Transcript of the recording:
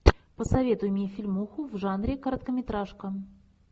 посоветуй мне фильмуху в жанре короткометражка